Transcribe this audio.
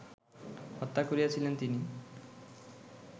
হত্যা করিয়াছিলেন তিনি